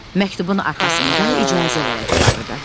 Məktubun arxasında icazə vərəqi var idi.